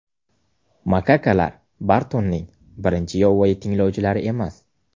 Makakalar Bartonning birinchi yovvoyi tinglovchilari emas.